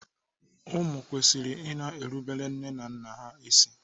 Ụmụ kwesịrị i na-erubere nne na nna ha isi.